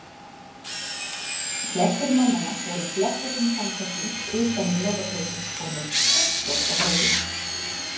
Flestir mannanna voru í blettóttum samfesting utan yfir lopapeysu og með pottlok á höfði.